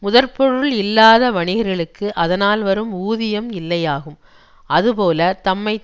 முதற்பொருள் இல்லாத வணிகர்களுக்கு அதனால் வரும் ஊதியம் இல்லையாகும் அதுபோலத் தம்மை